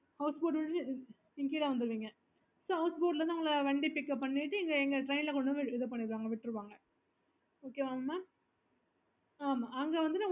okay